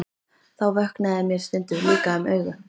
Þá vöknaði mér stundum líka um augu.